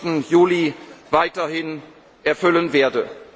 bis zum 14. Juli weiterhin erfüllen